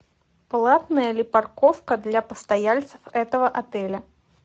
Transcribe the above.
платная ли парковка для постояльцев этого отеля